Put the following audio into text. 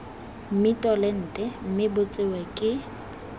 mmitolente mme bo tsewe ke